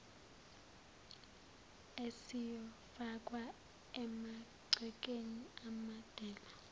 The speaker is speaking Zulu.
esiyofakwa emagcekeni amadela